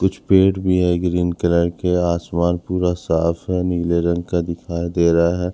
कुछ पेड़ भी है ग्रीन कलर के आसमान पूरा साफ है नीले रंग का दिखाई दे रहा--